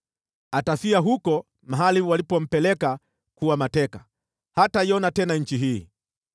Atafia huko mahali walipompeleka kuwa mateka; hataiona tena nchi hii.”